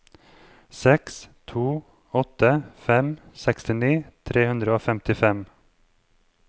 seks to åtte fem sekstini tre hundre og femtifem